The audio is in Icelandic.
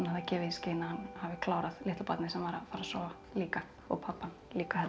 gefið í skyn að hann hafi klárað litla barnið sem var að fara að sofa líka og pabbann líka held ég